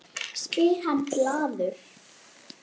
spyr hann glaður.